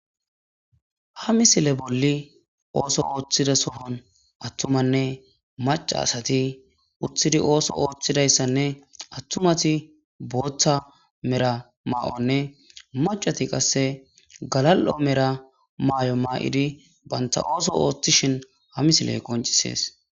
Ha misile bolli ooso ooththida soohon attumanne maca asati uttidi ooso ooththidayssanne attumati booththa mera maa'onne macati qasse galal'o mera maayo maayidi banta ooso ooththishin ha misile qoncisees.